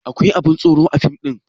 Akwai abun tsoro a fim ɗin?